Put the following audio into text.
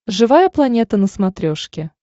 живая планета на смотрешке